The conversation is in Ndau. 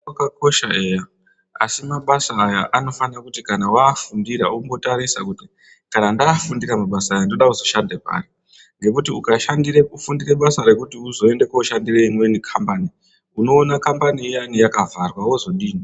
Zvakosha eya asimabasa aya anofanira kuti kana vaafundira vombotarisa kuti kana ndafundira mabasa aya nduruda kuzoshande pari. Ngekuti ukashandira kufundire basa rekuti uzoende koshandire imweni kambani unoona kambani iyani yakavharwa vozodini.